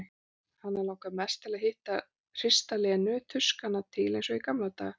Hana langar mest til að hrista Lenu, tuska hana til eins og í gamla daga.